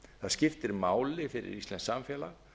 skiptir máli fyrir íslenskt samfélag